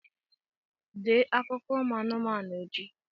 Dee akụkọ ụmụ anụmanụ echi!